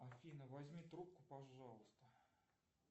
афина возьми трубку пожалуйста